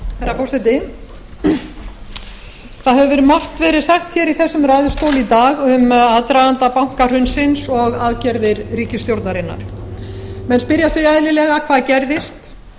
herra forseti það hefur margt verið sagt í þessum ræðustóli í dag um aðdraganda bankahrunsins og aðgerðir ríkisstjórnarinnar menn spyrja sig eðlilega hvað gerðist